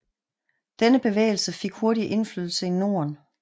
Denne bevægelse fik hurtigt indflydelse i Norden